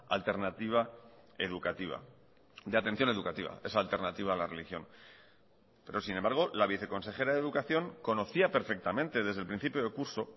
alternativa educativa de atención educativa esa alternativa a la religión pero sin embargo la viceconsejera de educación conocía perfectamente desde el principio de curso